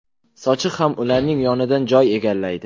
Sochiq ham ularning yonidan joy egallaydi.